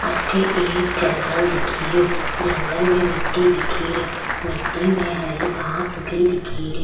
अठे एक जंगल दिख रियो जंगल में मिट्टी दिख री मिट्टी में हरे घास उगी दिख री।